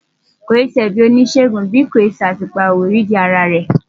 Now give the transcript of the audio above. Kì í ṣe ẹ̀bi oníṣègùn bí kò ṣe pé àtùpà ò rídìí ara rẹ̀.